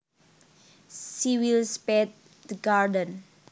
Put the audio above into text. She will spade the garden